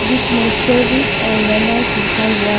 इसमें सर्विस और रेनॉल्ट लिखा हुआ है।